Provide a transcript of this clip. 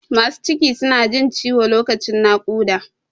Masu ciki su na jin ciwo lokacin naƙUda